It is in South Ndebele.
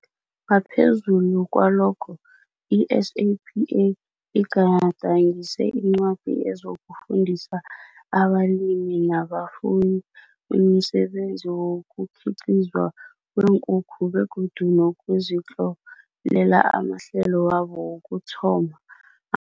Ngaphezulu kwalokho, i-SAPA igadangise incwadi ezokufundisa abalimi nabafuyi umsebenzi wokukhiqizwa kweenkukhu begodu nokuzitlolela amahlelo wabo wokuthoma